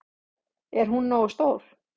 Er hún nógu stór?